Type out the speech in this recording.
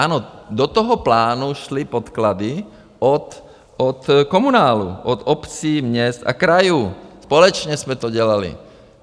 Ano, do toho plánu šly podklady od komunálu, od obcí, měst a krajů, společně jsme to dělali.